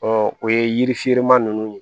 o ye yiri ferenman ninnu ye